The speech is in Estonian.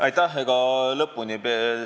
Aitäh!